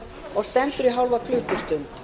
og stendur í hálfa klukkustund